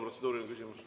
Protseduuriline küsimus.